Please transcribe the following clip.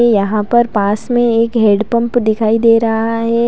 यहां पर पास में एक हेड पंप दिखाई दे रहा है।